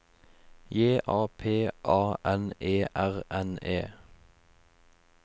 J A P A N E R N E